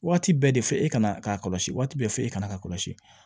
Waati bɛɛ de fɔ e kana ka kɔlɔsi waati bɛɛ fɔ e kana ka kɔlɔsi